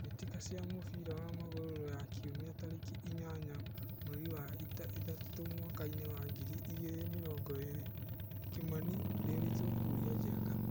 Mbĩtĩka cia mũbira wa magũrũ Ruraya Kiumia tarĩki inyanya mweri wa ĩtatũ mwakainĩ wa ngiri igĩrĩ na mĩrongo ĩrĩ Kimani, Ndiritu, Kuria, Njenga.